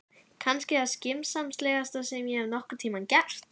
Kannski það skynsamlegasta sem ég hef nokkurn tímann gert.